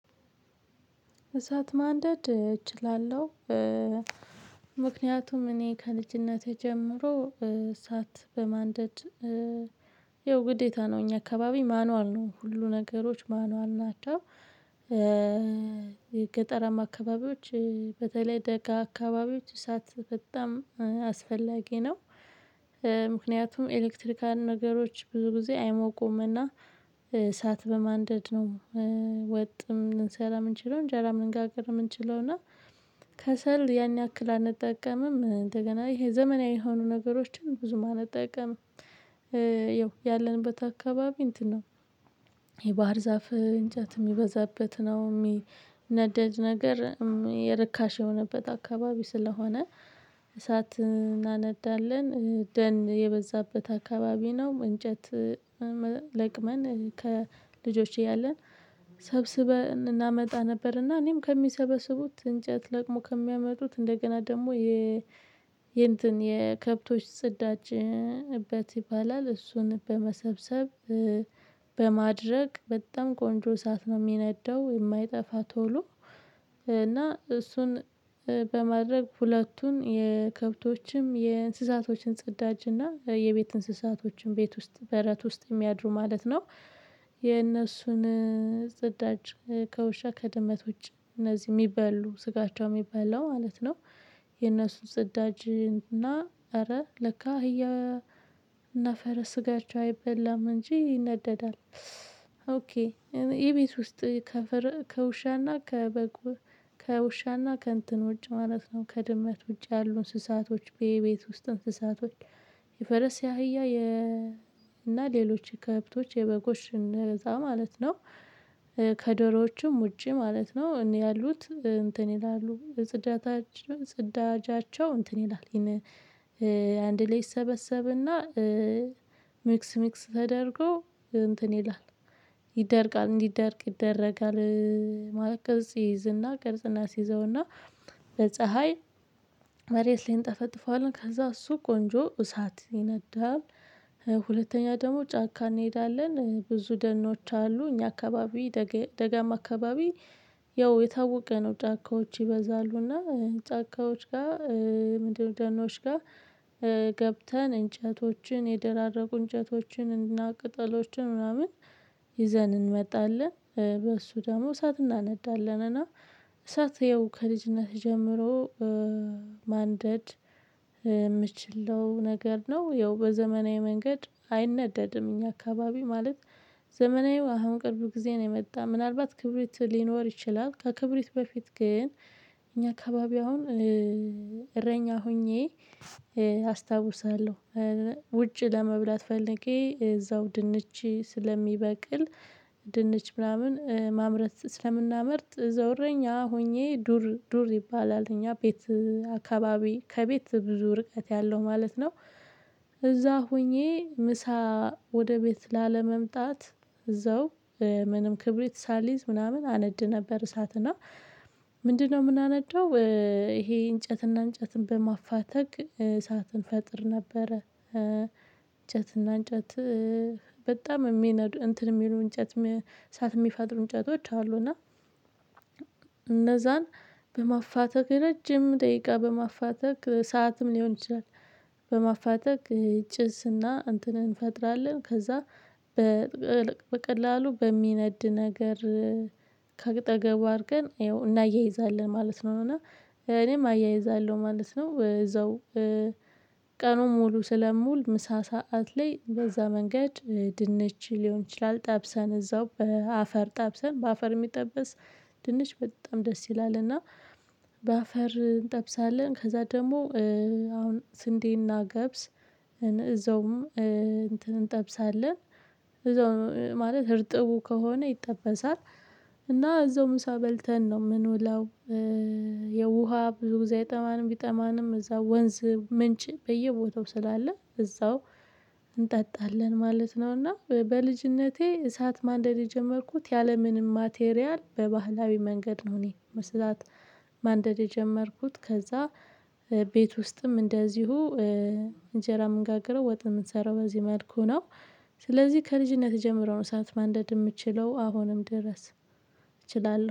እሳት ማንደድ እችላለሁ። ምክንያቱም እኔ ከልጅነቴ ጀምሮ እሳት በማንደድ ያው ግዴታ ነው እኛ አካባቢ ማኑዋል ነው ሁሉ ነገሮች ማኑዋል ናቸው። ገጠራማ አካባቢዎች በተለይ ደጋ አካባቢዎች እሳት በጣም አስፈላጊ ነው። ምክንያቱም ኤሌክትሪካል ነገሮች ብዙ ጊዜ አይሞቁምና እሳት በማንደድ ነው። ወጥም ልንሰራ ምንችለው እንጀራ ልንጋግር ምንችለው እና ከሰል ያን ያክል አንጠቀምም እንደገና ይሄ ዘመናዊ የሆኑ ነገሮችን ብዙ አንጠቀምም። ያለንበት አካባቢ እንትን ነው። የባህር ዛፍ እንጨት ሚበዛበት ነው ሚነደድ ነገር ርካሽ የሆነበት አካባቢ ስለሆነ እሳት እናነዳለን ደን የበዛበት አካባቢ ነው። እንጨት ለቅመን ከልጆች እያለን ሰብስበን እናመጣ ነበር። እና እኔም ከሚሰበስቡት እንጨት ለቅሞ ከሚያመጡት እንደገና ደግሞ የ የእንትን የከብቶች ጽዳጅ እበት ይባላል እሱን በመሰብሰብ በማድረቅ በጣም ቆንጆ እሳት ነው ሚነደው። የማይጠፋ ቶሎ እና እሱን በማድረግ ሁለቱን የከብቶችም የእንስሳቶችን ጹዳጅ እና የቤት እንስሳቶችን ቤት ውስጥ በረት ውስጥ የሚያድሩ ማለት ነው። የእነሱን ጽዳጅ ከውሻ ከድመት ውጭ እነዚህ ሚበሉ ስጋቸው የሚበላው ማለት ነው። የነሱን ጽዳጅ እና እረ ለካ አህያ እና ፈረስ ስጋቸው አይበላም እንጂ ይነደዳል። ኦኬ የቤት ውስጥ ከውሻና ከበግ ከውሻና ከእንትን ውጭ ማለት ነው ከድመት ውጭ ያሉ እንስሳቶች የቤት ውስጥ እንስሳቶች። የፈረስ ያህያ የ እና ሌሎች ከብቶች የበጎችን እዛ ማለት ነው። ከዶሮዎችም ውጪ ማለት ነው እኔ ያሉት እንትን ይላሉ ጽዳታችን ጽዳጃቸው እንትን ይላል። ይህን አንድ ላይ ይሰበሰብ እና ሚክስ ሚክስ ተደርጎ እንትን ይላል። ይደርቃል እንዲደርቅ ይደረጋል። ማለት ቅርጽ ይይዝና ቅርጽ እናስይዘውና በፀሀይ መሬት ላይ እንጠፈጥፈዋለን ከዛ እሱ ቆንጆ እሳት ይነዳል። ሁለተኛ ደግሞ ጫካ እንሄዳለን ብዙ ደኖች አሉ እኛ አካባቢ ደጋማ አካባቢ ያው የታወቀ ነው። ጫካዎች ይበዛሉና ጫካዎች ጋ ምንድነው ደኖች ጋር? እንጨቶችን የደራረቁ እንጨቶችን እና ቅጠሎችን ምናምን ይዘን እንመጣለን በእሱ ደግሞ እሳት እናነዳለን። እና እሳት ይኸው ከልጅነትህ ጀምሮ ማንደድ የምችለው ነገር ነው። ያው በዘመናዊ መንገድ አይነደድም እኛ አካባቢ ማለት ዘመናዊው አሁን ቅርብ ጊዜ ነው የመጣ ምናልባት ክብሪት ሊኖር ይችላል። ከክብሪት በፊት ግን እኛ አካባቢ አሁን እረኛ ሆኜ አስታውሳለሁ። ውጭ ለመብላት ፈልጌ እዛው ድንች ስለሚበቅል ድንች ምናምን ማምረት ስለምናመርት እረኛ ሆኜ ዱር ዱር ይባላል እኛ ቤት አካባቢ ከቤት ብዙ ርቀት ያለው ማለት ነው። እዛ ሆኜ ምሳ ወደ ቤት ላለመምጣት እዛው ምንም ክብሪት ሳልይዝ ምናምን አነድ ነበር። እሳት እና ምንድን ነው ምናነደው? ይሄ እንጨትና እንጨትን በማፋተግ እሳትን እንፈጥር ነበረ። እንጨት በጣም የሚነዱ እንትን የሚሉ እንጨት ሳትሚፈጥሩ እንጨቶች አሉ። እና እነዛን በማፋተግ ረጅም ደቂቃ በማፋተግ ሰዓትም ሊሆን ይችላል። በማፋተግ ችስ እንትን እንፈጥራለን። ከዛ በቀላሉ በሚነድ ነገር ከአጠገቡ አርገን አየው እናያይዛለን ማለት ነው። እና እኔም አያይዛለሁ ማለት ነው። እዛው ቀኑን ሙሉ ስለምውል ምሳ ሰዓት ላይ በዛ መንገድ ድንች ሊሆን ይችላል ጠብሰን እዛው በአፈር ጠብሰን በአፈር ሚጠበስ ድንች በጣም ደስ ይላል። እና በአፈር እንጠብሳለን ከዛ ደግሞ አሁን ስንዴና ገብስ እዛውም እንጠብሳለን። እዛው ማለት እርጥቡ ከሆነ ይጠበሳል እና እዛው ምሳ በልተን ነው ምንውለው? የውሃ ብዙ ጊዜ አይጠማንም ቢጠማንም እዛው ወንዝ ምንጭ በየቦታው ስላለ እዛው እንጠጣለን ማለት ነው። እና በልጅነቴ እሳት ማንደድ የጀመርኩት ያለምንም ማቴሪያል በባህላዊ መንገድ ነው። እኔ መስራት ማንደድ የጀመርኩት ከዛ ቤት ውስጥም እንደዚሁ እንጀራ ምንጋግረው ወጥ ምንሰራው በዚህ መልኩ ነው። ስለዚህ ከልጅነት ጀምሮ ነው እሳት ማንደድ ምችለው አሁንም ድረስ እችላለሁ